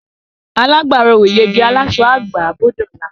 Alágbàró ò yege; aláṣọ á gbà á bó dọ̀la.